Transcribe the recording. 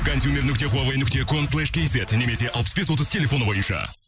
консюмер нүкте хуавей нүкте сом слэш кейзет немесе алпыс бес отыз телефоны бойынша